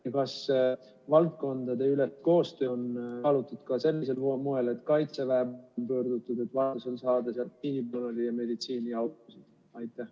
Ja kas valdkondadeülest koostööd on kaalutud ka sellisel moel, et Kaitseväe poole pöörduda ja vajaduse korral saada sealt meditsiinipersonali ja autosid?